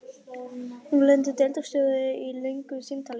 Nú lendir deildarstjóri í löngu símtali.